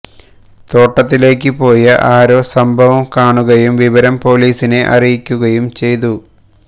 തോട്ടത്തിലേക്ക് പോയ ആരോ സംഭവം കാണുകയും വിവരം പൊലീസിനെ അറിയിക്കുകയും ചെയ്തു